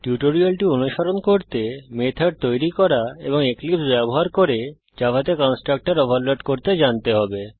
টিউটোরিয়ালটি অনুসরণ করতে মেথড তৈরী করা এবং এক্লিপসে ব্যবহার করে জাভাতে কন্সট্রাকটর ওভারলোড করতে জানতে হবে